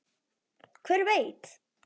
Hver veit?